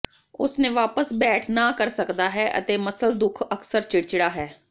ਉਸ ਨੇ ਵਾਪਸ ਬੈਠ ਨਾ ਕਰ ਸਕਦਾ ਹੈ ਅਤੇ ਮੱਸਲ ਦੁੱਖ ਅਕਸਰ ਚਿੜਚਿੜਾ ਹੈ